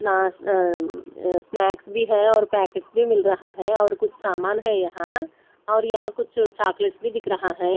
नास न म्म स्नेक्स भी है और पैकेट्स भी मिल रहा है और कुछ सामान है यहां और यहां कुछ चॉकलेट्स भी दिख रहा है।